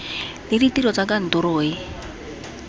le ditiro tsa kantoro e